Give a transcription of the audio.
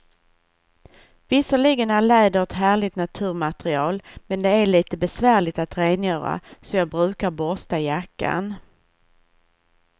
Visserligen är läder ett härligt naturmaterial, men det är lite besvärligt att rengöra, så jag brukar borsta jackan.